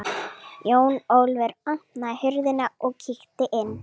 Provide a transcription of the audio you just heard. Jón Ólafur opnaði hurðina og kíkti inn.